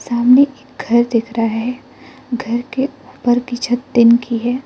सामने एक घर दिख रहा है घर के उपर की छत टीन की है।